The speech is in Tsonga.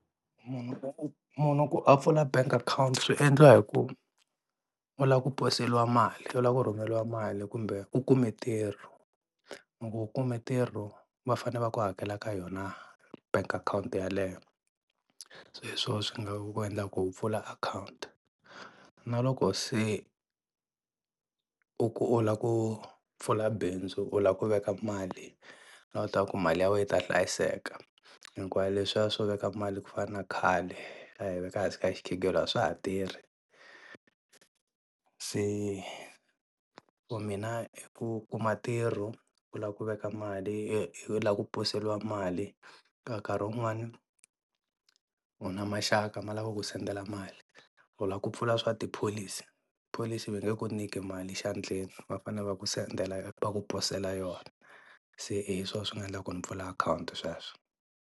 Munhu munhu ku a pfula bank account swi endliwa hi ku u lava ku poseliwa mali u lava ku rhumeriwa mali kumbe u kumbe ntirho loko u kume ntirho va fane va ku hakela ka yona bank account yeleyo, se hi swona swi nga ku endla ku u pfula account. Na loko se u ku u la ku pfula bindzu u lava ku veka mali u lava ku mali ya wena yi ta hlayiseka hikuva leswiya swo veka mali ku fana na khale a hi veka ehansi ka xikhegelo a swa ha tirhi, se ku mina hi ku kuma ntirho u la ku veka mali u la ku poseliwa mali ka nkarhi wun'wana u na maxaka ma la ku ku sendela mali, u la ku pfula swa tipholisi, pholisi va nge ku nyiki mali xandleni va fanele va ku sendela va ku posela yona se hi swona swi nga endla ku ni pfula account sweswo.